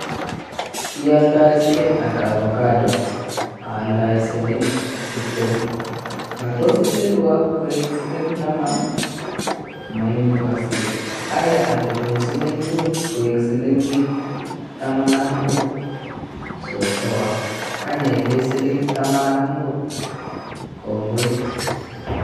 Ialdoe siling ata Avocado? aldoe siling tiptem, matos itilwa koek siling taman? memukoske aya atilun siling mut koek silingit taman ak mut, sosowa kany aibe siling taman ak mut, kongoi.